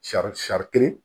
Sari sari kelen